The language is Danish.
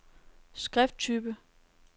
skrifttype